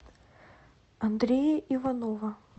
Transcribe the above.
андрея иванова